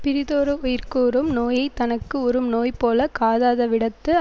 பிறிதோரு உயிர்க்குஉறும் நோயை தனக்கு உறும் நோய்போலக் காதாதவிடத்து